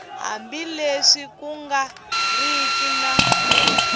hambileswi ku nga riki na